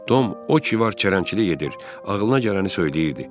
Tom o ki var çərənləyirdi, ağlına gələni söyləyirdi.